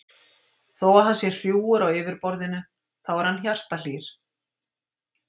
Þó að hann sé hrjúfur á yfirborðinu þá er hann hjartahlýr.